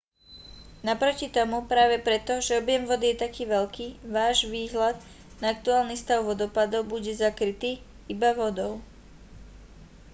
naproti tomu práve preto že objem vody je taký veľký váš výhľad na aktuálny stav vodopádov bude zakrytý-iba vodou